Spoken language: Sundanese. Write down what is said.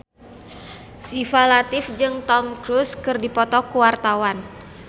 Syifa Latief jeung Tom Cruise keur dipoto ku wartawan